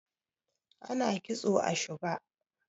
ana kitso a shuga